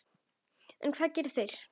En hvað gera þeir?